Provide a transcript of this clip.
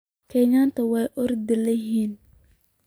Kenyatika wa orodh yahan.